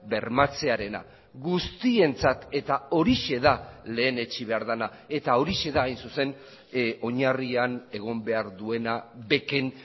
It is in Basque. bermatzearena guztientzat eta horixe da lehenetsi behar dena eta horixe da hain zuzen oinarrian egon behar duena beken